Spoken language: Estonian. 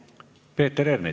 Peeter Ernits.